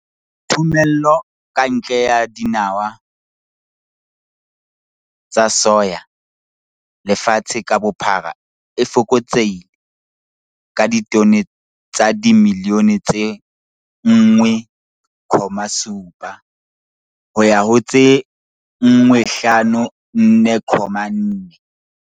Thomello ka ntle ya dinawa tsa soya lefatshe ka bophara e fokotsehile ka ditone tsa dimilione tse 1,7 ho ya ho tse 154,4.